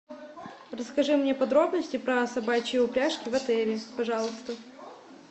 расскажи мне подробности про собачьи упряжки в отеле пожалуйста